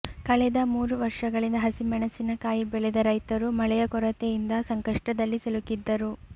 ಕಳೆದ ಮೂರು ವರ್ಷಗಳಿಂದ ಹಸಿ ಮೆಣಸಿನಕಾಯಿ ಬೆಳೆದ ರೈತರು ಮಳೆಯ ಕೊರತೆಯಿಂದ ಸಂಕಷ್ಟದಲ್ಲಿ ಸಿಲುಕಿದ್ದರು